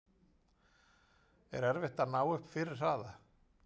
Er erfitt að ná upp fyrri hraða?